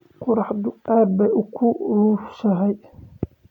Qorraxdu aad bay u kulushahay